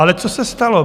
Ale co se stalo?